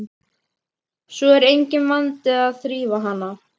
Svo er enginn vandi að þrífa hana.